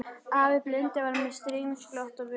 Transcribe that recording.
Afi blindi var með stríðnisglott á vör.